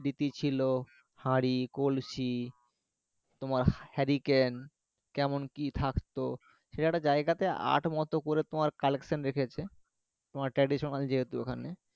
স্মৃতি ছিল হাঁড়ি কলসি তোমার hurricane কেমন কি থাকতো সেখানে একটা জায়গাতে art মতো করে collection রেখেছে তোমার traditional যেহেতু